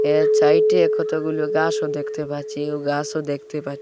এক ছাইটে কতগুলু গাসও দেখতে পাচ্ছি উ গাসও দেখতে পাচ্ছি।